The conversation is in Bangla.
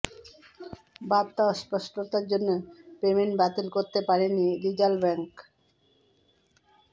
বার্তা অস্পষ্টতার জন্য পেমেন্ট বাতিল করতে পারেনি রিজাল ব্যাংক